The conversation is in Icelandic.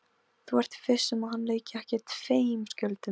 Þú ert viss um að hann leiki ekki tveim skjöldum?